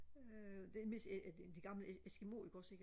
øh det mest øh de de gamle eskimo ikke også ikke